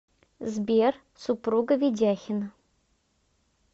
сбер супруга ведяхина